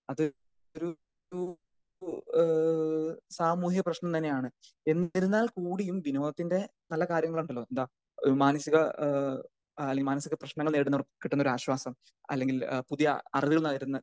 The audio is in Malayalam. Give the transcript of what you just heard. അത് ഒരു ഒരു ഇപ്പൊ ഏഹ്‌ ഒരു സാമൂഹ്യ പ്രശ്നം തന്നെയാണ് എന്നിരുന്നാൽ കൂടിയും വിനോദത്തിന്റെ പല കാര്യങ്ങൾ ഉണ്ടല്ലോ എന്താ അത് മാനുഷിക ഏഹ് അല്ലെങ്കി മാനുഷിക പ്രശ്നങ്ങൾ നേരിടുമ്പോൾ കിട്ടുന്ന ഒരു ആശ്വാസം അല്ലെങ്കിൽ പുതിയ അറിവ്